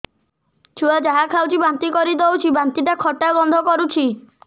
ଛୁଆ ଯାହା ଖାଉଛି ବାନ୍ତି କରିଦଉଛି ବାନ୍ତି ଟା ଖଟା ଗନ୍ଧ କରୁଛି